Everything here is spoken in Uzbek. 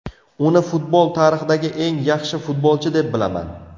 Uni futbol tarixidagi eng yaxshi futbolchi deb bilaman.